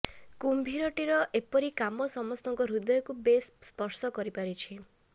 କୁମ୍ଭୀର ଟିର ଏପରି କାମ ସମସ୍ତଙ୍କ ହୃଦୟକୁ ବେଶ ସ୍ପର୍ଶ କରିପାରିଛି